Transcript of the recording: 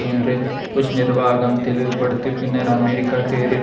என்றும் புஷ் நிர்வாகம் தெளிவுபடுத்திய பின்னர் அமெரிக்க தேரில்